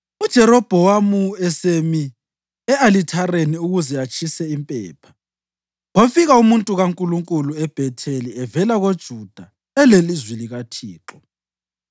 UJerobhowamu esemi e-alithareni ukuze atshise impepha, kwafika umuntu kaNkulunkulu eBhetheli evela koJuda elelizwi likaThixo,